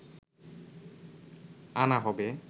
আনা হবে